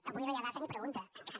avui no hi ha data ni pregunta encara